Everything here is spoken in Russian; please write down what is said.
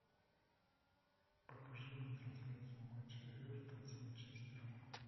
покажи мне трансляцию матча эвертон с манчестером